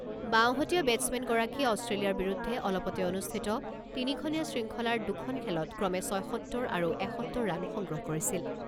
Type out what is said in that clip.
বাওঁহতীয়া বেটছমেনগৰাকীয়ে অষ্ট্ৰেলিয়াৰ বিৰুদ্ধে অলপতে অনুষ্ঠিত তিনিখনীয়া শৃংখলাৰ দুখন খেলত ক্ৰমে ছয়সত্তৰ আৰু এসত্তৰ ৰাণ সংগ্ৰহ কৰিছিল।